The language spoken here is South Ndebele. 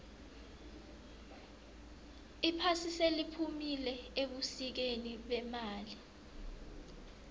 iphasi seliphumile ebusikeni bemali